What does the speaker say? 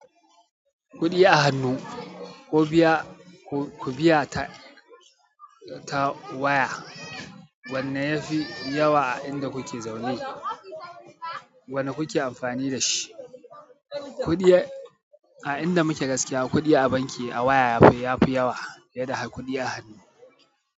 Kuɗi a hannu ko biya ta waya, wanne yafi yawa a inda kuke zaune? Wane kuke amfani dashi? A inda muke gaskiya, kuɗi a banki a waya yafi yawa, fiye da kuɗi a hannu.